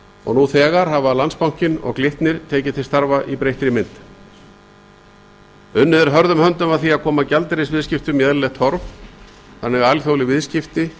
og nú þegar hafa landsbankinn og glitnir tekið til starfa í breyttri mynd unnið er hörðum höndum að því að koma gjaldeyrisviðskiptum í eðlilegt horf þannig að alþjóðleg viðskipti